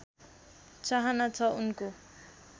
चाहना छ उनको